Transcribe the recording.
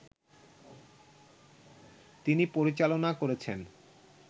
তিনি পরিচালনা করেছেন